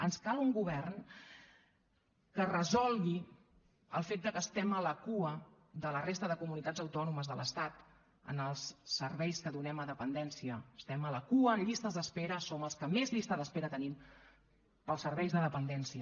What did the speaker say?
ens cal un govern que resolgui el fet de que estiguem a la cua de la resta de comunitats autònomes de l’estat en els serveis que donem a dependència estem a la cua en llistes d’espera som els que més llista d’espera tenim per als serveis de dependència